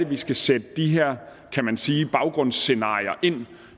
vi skal sætte de her kan man sige scenarier ind